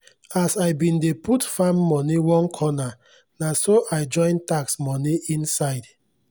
as i bin dey put farm moni one corner naso i join tax moni inside